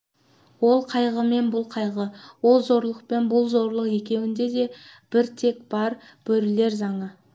ол қайғы мен бұл қайғы ол зорлық пен бұл зорлық екеуінде де бір тек бар бөрілер заңы